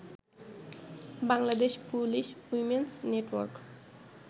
Bangladesh police women's network